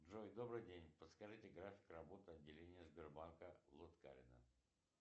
джой добрый день подскажите график работы отделения сбербанка в лыткарино